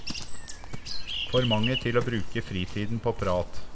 For mange til å bruke fritiden på prat.